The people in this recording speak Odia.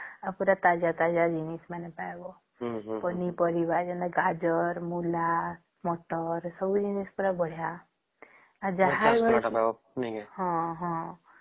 ଆଉ ପୁରା ତାଜା ତାଜା ଜିନିଷ ମାନେ ଖାଇବା ପନି ପରିବା ଗୁଡ଼ା ଯେମିତିକି ଗାଜର , ମୂଳ , ମାତ୍ର ସବୁ ଜିନିଷ ପୁରା ବଢିଆ ଆଉ ଯାହା ହଁହଁ ହଁ